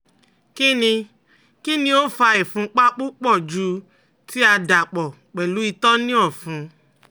Kini Kini o fa ìfúnpá pupọ ju ti a dapọ pẹlu itọ ni ọfun?